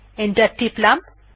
enter টিপলাম